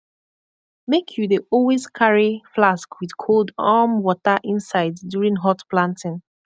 make you dey always carry flask with cold um water inside during hot planting